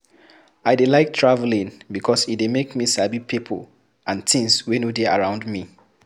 I dey like travelling because e dey make me sabi pipo and tins wey no dey around me